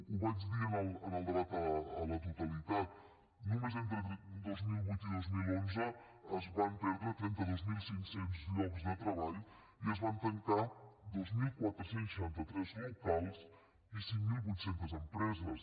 ho vaig dir en el debat a la totalitat només entre dos mil vuit i dos mil onze es van perdre trenta dos mil cinc cents llocs de treball i es van tancar dos mil quatre cents i seixanta tres locals i cinc mil vuit cents empreses